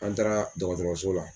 An taara dɔgɔtɔrɔso la.